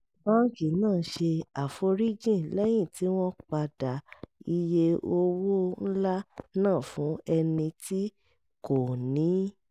báńkì náà ṣe àforíjì lẹ́yìn tí wọ́n padà iye owó ńlá náà fún ẹni tí kò níí